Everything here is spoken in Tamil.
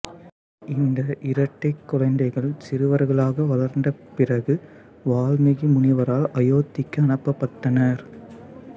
இந்த இரட்டைக் குழந்தைகள் சிறுவர்களாக வளர்ந்த பிறகு வால்மீகி முனிவரால் அயோத்திக்கு அனுப்பப்பட்டனர்